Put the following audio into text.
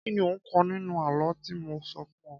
Kí ni o kọ́ nínú àlọ́ tí mo sọ fún o?